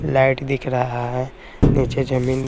light दिख रहा है नीचे जमीन--